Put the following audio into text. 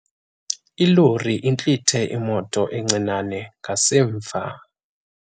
Ilori intlithe imoto encinane ngasemva.